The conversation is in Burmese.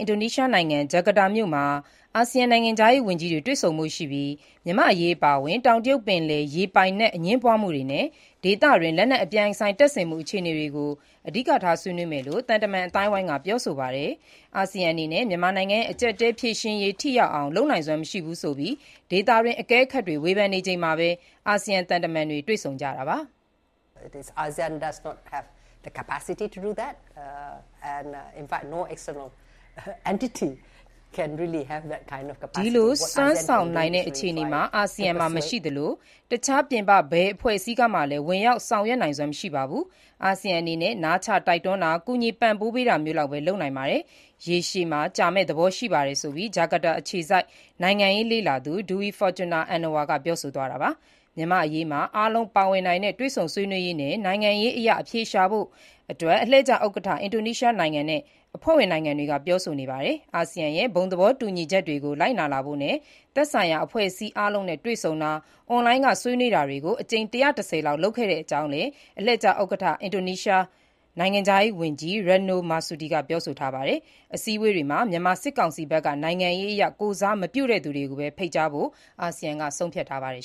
င်ဒိုနီးရှားနိုင်ငံ ဂျကာတာမြို့မှာ အာဆီယံနိုင်ငံခြားရေးဝန်ကြီးတွေ တွေ့ဆုံဖို့ရှိပြီး မြန်မာ့အရေးအပါအဝင်၊ တောင်တရုတ်ပင်လယ် ရေပိုင်နက် အငြင်းပွားမှုတွေနဲ့ ဒေသတွင်း လက်နက်အပြိုင်ဆိုင်တပ်ဆင်မှုအခြေတွေအနေ ဆွေးနွေးကြမယ့် အဓိကအကြောင်းအရာတွေ ဖြစ်မယ့်အကြောင်း သံတမန်အသိုင်းအဝိုင်းက ပြောဆိုပါတယ်။ ပြင်ပအင်အားစုဖြစ်တဲ့ အာဆီယံအနေနဲ့ မြန်မာနိုင်ငံ့ရဲ့ အကျပ်အတည်းဖြေရှင်းရေး ထိရောက်အောင် လုပ်နိုင်စွမ်းမရှိဘူးဆိုပြီး ဒေသတွင်း အကဲခတ်တွေ ဝေဖန်နေချိန်မှာပဲ အာဆီယံ သံတမန်တွေ တွေ့ဆုံကြတာပါ။ ဒီလို စွမ်းဆောင်နိုင်တဲ့ အခြေအနေ အာဆီယံမှာမရှိသလို တခြား ပြင်ပဘယ်အဖွဲ့အစည်းကမှလည်း ဝင်ရောက်ဆောင်ရွက်နိုင်စွမ်းမရှိပါဘူး။ အာဆီယံအနေနဲ့ နားချတိုက်တွန်းတာ၊ ကူညီပံ့ပိုးပေးတာမျိုးလောက်ပဲ လုပ်နိုင်ပါတယ်။ ရေရှည် ကြာမယ့်သဘောရှိပါတယ်ဆိုပြီး ဂျကာတာ အခြေစိုက် နိုင်ငံရေးလေ့လာသူ Dewi Fortuna Anwar က ပြောဆိုသွားတာပါ။ မြန်မာ့အရေးမှာ အားလုံးပါဝင်နိုင်တဲ့ တွေ့ဆုံဆွေးနွေးရေးနဲ့ နိုင်ငံရေးအရ အဖြေရှာနိုင်ဖို့ အလှည့်ကျ ဥက္ကဋ္ဌ အင်ဒိုနီးရှားနိုင်ငံနဲ့ အဖွဲ့ဝင်နိုင်ငံတွေ ပြောဆိုနေပါတယ်။ အာဆီယံရဲ့ ဘုံသဘောတူညီချက် တွေကိုကို ပိုပြီးလိုက်နာလာဖို့နဲ့ မြန်မာနိုင်ငံအတွင်း သက်ဆိုင်ရာ အဖွဲ့အစည်းအားလုံးနဲ့ တွေ့ဆုံတာ၊ အွန်လိုင်းက ဆွေးနွေးတာတွေ အကြိမ် ၁၁၀ လောက်လုပ်ခဲ့တဲ့အကြောင်းလည်း အလှည့်ကျ ဥက္ကဋ္ဌ အင်ဒိုနီးရှားနိုင်ငံခြားရေး ဝန်ကြီး Retno Marsudi က ပြောဆိုထားပါတယ်။ အစည်းအဝေးတွေမှာ မြန်မာစစ်ကောင်စီဘက်က နိုင်ငံရေးအရ ကိုယ်စားမပြုတဲ့သူကိုပဲ ဖိတ်ကြားဖို့ အာဆီယံက ဆုံးဖြတ်ထားပါတယ်